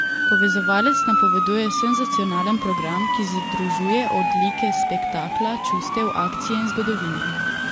Povezovalec napoveduje senzacionalen program, ki združuje odlike spektakla, čustev, akcije in zgodovine...